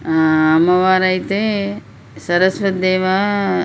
ఆ అమ్మవారు అయితే సరస్వతి దేవా --